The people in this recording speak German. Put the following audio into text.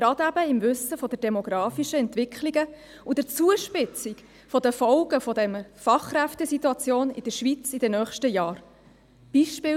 Gerade in Anbetracht der demografischen Entwicklung und der Zuspitzung der Folgen der Fachkräftesituation in der Schweiz in den nächsten Jahren ist dies besonders wichtig.